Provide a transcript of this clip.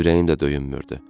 Ürəyim də döyünmürdü.